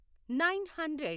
nine hundred